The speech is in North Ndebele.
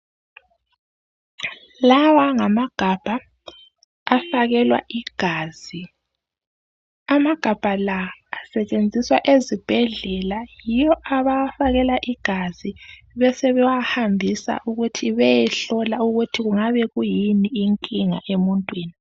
Lawa ngamagabha afakelwa igazi amagabha la asetshenziswa ezibhedlela yiwo abawafakela igazi besebewahambisa ukuthi beyehlolwa ukuthi kungabe kuyini inkinga emuntwini